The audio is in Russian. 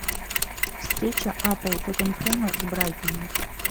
встреча апл тоттенхэма с брайтоном